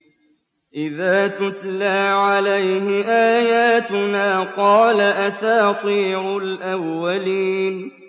إِذَا تُتْلَىٰ عَلَيْهِ آيَاتُنَا قَالَ أَسَاطِيرُ الْأَوَّلِينَ